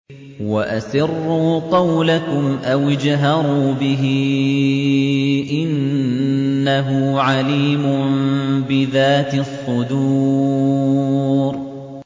وَأَسِرُّوا قَوْلَكُمْ أَوِ اجْهَرُوا بِهِ ۖ إِنَّهُ عَلِيمٌ بِذَاتِ الصُّدُورِ